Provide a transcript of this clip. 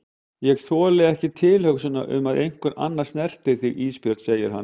Ég þoli ekki tilhugsunina um að einhver annar snerti þig Ísbjörg, segir hann.